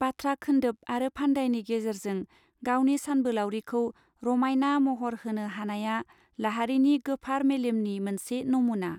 बाथ्रा खेन्दोब आरो फान्दाइनि गेजेरजों गावनि सानबोलाउरिखौ रमायनना महर होनेा हानाया लाहारीनि गोफार मेलेमनि मोनसे नमुना.